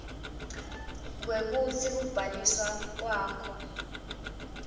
kwekutsi kubhaliswa kwakho